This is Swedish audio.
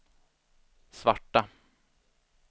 svarta